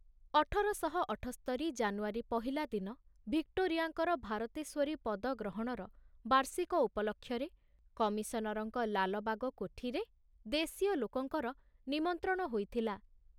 ଅଠର ଶହ ଅଠୋସ୍ତରି ଜାନୁଆରୀ ପହିଲା ଦିନ ଭିକ୍ଟୋରିଆଙ୍କର ଭାରତେଶ୍ୱରୀ ପଦ ଗ୍ରହଣର ବାର୍ଷିକ ଉପଲକ୍ଷରେ କମିଶନରଙ୍କ ଲାଲବାଗ କୋଠିରେ ଦେଶୀୟ ଲୋକଙ୍କର ନିମନ୍ତ୍ରଣ ହୋଇଥିଲା।